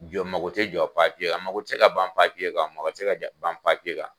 Jɔ mago te jɔ a mago ti se ka ban kan, a mago ti se ka gɛ ban kan.